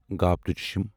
گھ